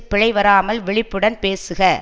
பிழை வராமல் விழிப்புடன் பேசுக